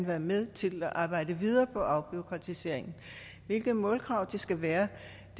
være med til at arbejde videre på afbureaukratisering hvilke målkrav det skal være